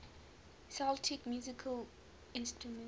celtic musical instruments